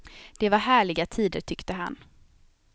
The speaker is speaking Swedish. Det var härliga tider, tyckte han.